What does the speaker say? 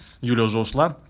юля уже ушла